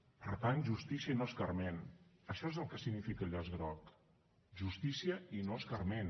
per tant justícia i no escarment això és el que significa el llaç groc justícia i no escarment